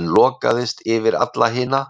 en lokaðist yfir alla hina?